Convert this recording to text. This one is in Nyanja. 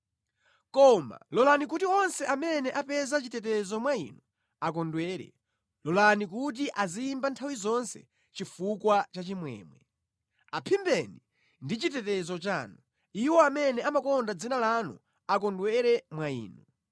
Koma lolani kuti onse amene apeza chitetezo mwa Inu akondwere; lolani kuti aziyimba nthawi zonse chifukwa cha chimwemwe. Aphimbeni ndi chitetezo chanu, iwo amene amakonda dzina lanu akondwere mwa Inu.